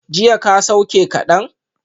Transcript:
Jiya ka sauke kadan?